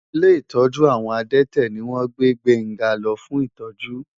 Ilé ìtọ́jú àwọn adẹ́tẹ̀ ni wọ́n gbé Gbénga lọ fún ìtọ́jú.